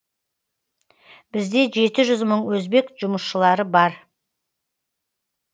бізде жеті жүз мың өзбек жұмысшылары бар